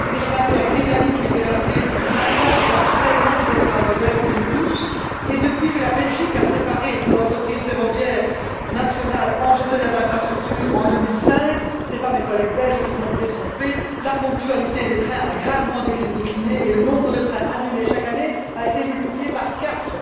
Les chemins de fer britanniques, libéralisés depuis vingt ans, sont très loin d'être un modèle pour nous tous, et depuis que la Belgique a séparé son entreprise ferroviaire nationale en gestionnaires d'infrastructures en 2005 ce ne sont pas mes collègues belges qui vont me détromper la ponctualité des trains a gravement décliné, et le nombre de trains annulés chaque année a été multiplié par quatre.